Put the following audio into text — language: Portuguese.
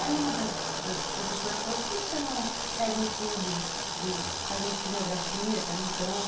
Aí uma das das professoras falou, por que você não pega um estudo, faz uma estinografia, pega um campo?